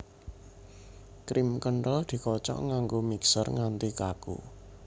Krim kenthel dikocok nganggo mixer nganti kaku